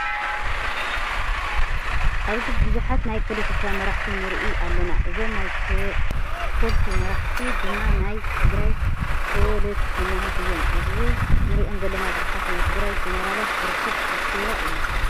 ኣብዝ ቡዙሓይ ናይ ፖለቲካ መራሕቲ ንርኢ ኣለና። እዞም ናይ ፖለቲ መራሕቲ ድማ ናይ ትግራይ ፖለቲከኛታት እዮም። ኣብዚ እንሪኦም ዘለና ቡዙሓት ናይ ትግራይ ጀነራላት ዝርከብዎ ኣኬባ እዩ።